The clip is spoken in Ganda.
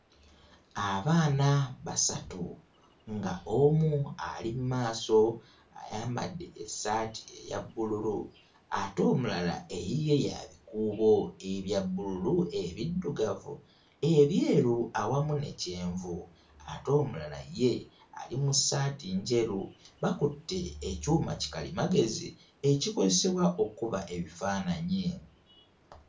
Abaana basatu nga omu ali mu maaso ayambadde essaati eya bbululu ate omulala eyiye ya bikuubo ebya bbululu ebiddugavu, ebyeru awamu ne kyenvu ate omulala ye ali mu ssaati njeru. Bakutte ekyuma kikalimagezi ekikozesebwa okkkuba ebifaananyi.